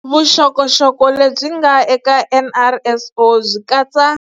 Vuxokoxoko lebyi nga eka NRSO byi katsa.